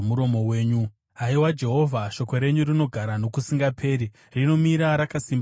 Haiwa Jehovha, shoko renyu rinogara nokusingaperi; rinomira rakasimba kudenga denga.